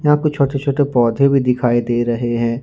यहां कुछ छोटे छोटे पौधे भी दिखाई दे रहे हैं।